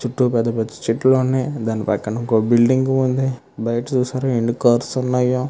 చుట్టూ పేద పేద చేతుల్లు వున్నాయ్. దాని పక్కన పక బిల్డింగ్ వుంది. బయట చూసారా ఎని కార్స్ వున్నాయ్.